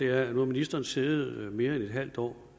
er at nu har ministeren siddet mere end et halvt år